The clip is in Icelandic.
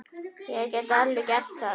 Ég get alveg gert það.